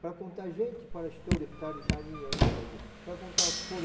Para contar gente, fala... para contar